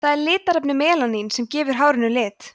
það er litarefnið melanín sem gefur hárinu lit